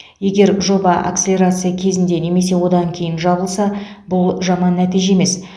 егер жоба акселерация кезінде немесе одан кейін жабылса бұл жаман нәтиже емес